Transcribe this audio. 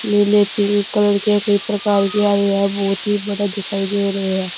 नीले pink colour के कई प्रकार की आ रही है बहुत ही बड़ा दिखाई दे रहे हैं।